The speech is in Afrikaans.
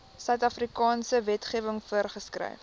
suidafrikaanse wetgewing voorgeskryf